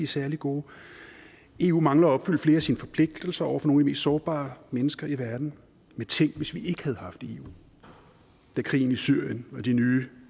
særlig gode eu mangler at opfylde flere af sine forpligtelser over for nogle de sårbare mennesker i verden men tænk hvis vi ikke havde haft eu da krigen i syrien og de nye